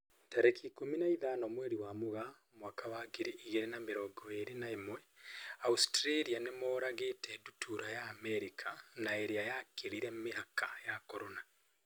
Tarĩki ikũmi na ithano mweri wa Mũgaa mwaka wa ngiri igĩrĩ na mĩrongo ĩrĩ na ĩmwe, Australia nĩmoragĩte ndutura ya Amerika na irĩa yakĩrire mĩhaka ya Corona.